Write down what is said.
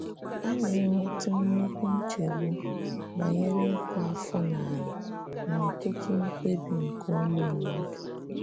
A na - enwetụ nnukwu nchegbu banyere ịkụ afọ n’ala n’ọtụtụ mkpebi nke ụmụ mmadụ.